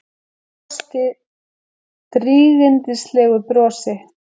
Brosti drýgindalegu brosi.